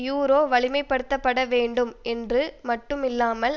euro வலிமைப்படுத்தப்பட வேண்டும் என்று மட்டும் இல்லாமல்